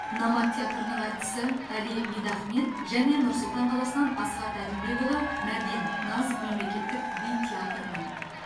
номад театрының әртісі әли бидахмет және нұр сұлтан қаласынан асхат әділбекұлы мәден наз мемлекеттік би театрынан